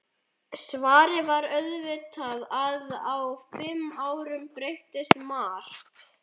Svarið var auðvitað að á fimm árum breytist margt.